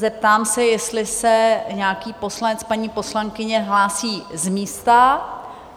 Zeptám se, jestli se nějaký poslanec, paní poslankyně hlásí z místa?